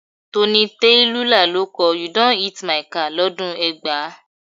Tony Tetuila ló kọ "You don hit my car" lọ́dún ẹgbàá.